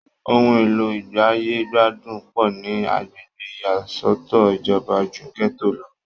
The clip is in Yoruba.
ohun èlò ìgbáyégbádùn pọ̀ ní agbègbè ìyàsọ́tọ̀ ìjọba ju gẹ́tò lọ